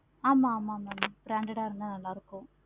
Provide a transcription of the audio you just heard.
ஆமா ஆமா mam branded ஆஹ் இருந்த நல்ல இருக்கும்.